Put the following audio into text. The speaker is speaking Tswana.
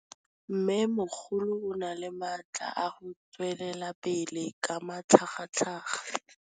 Mmêmogolo o na le matla a go tswelela pele ka matlhagatlhaga.